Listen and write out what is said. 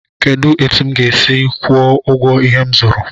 Kedụ etu m ga-esi kwuo ụgwọ ihe m zụrụ?